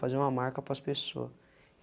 Fazer uma marca para as pessoa.